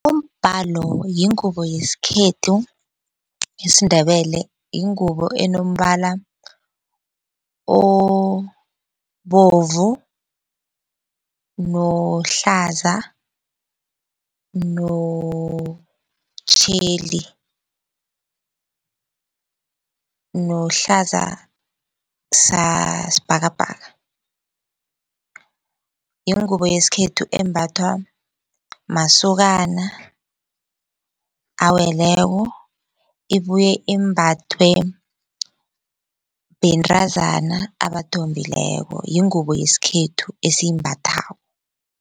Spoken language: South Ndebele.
Umbalo yingubo yesikhethu yesiNdebele yingubo enombala obovu nohlaza nomtjheli, nohlaza sasibhakabhaka. Yingubo yesikhethu embathwa masokana aweleko ibuye imbathwe bentazana abathombileko yingubo yesikhethu esiyimbathako.